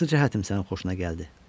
Hansı cəhətim sənin xoşuna gəldi?